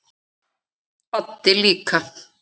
Baddi líka.